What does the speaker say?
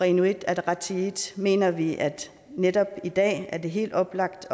inuit ataqatigiit mener vi at det netop i dag er helt oplagt